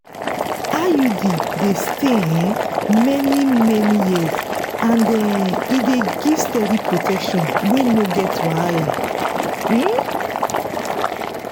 iud dey stay um many-many years and um e dey give steady protection wey no get wahala. um